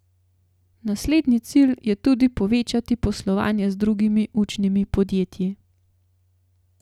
Naslednji cilj je tudi povečati poslovanje z drugimi učnimi podjetji.